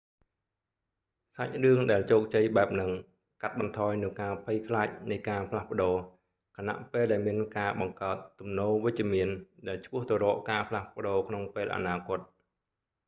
សាច់រឿងដែលជោគជ័យបែបហ្នឹងកាត់បន្ថយនូវការភ័យខ្លាចនៃការផ្លាស់ប្ដូរ ខណៈពេលដែលមានការបង្កើតទំនោរវិជ្ជមានដែលឆ្ពោះទៅរកការផ្លាស់ប្ដូរក្នុងពេលអនាគត